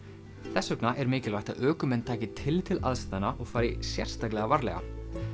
þess vegna er mikilvægt að ökumenn taki tillit til aðstæðna og fari sérstaklega varlega